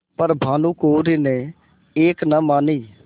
पर भानुकुँवरि ने एक न मानी